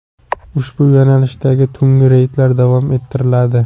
Ushbu yo‘nalishdagi tungi reydlar davom ettiriladi.